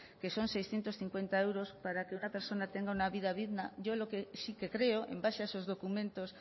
que son seiscientos cincuenta euros para que una persona tenga un vida digna yo lo que sí que creo en base a esos documentos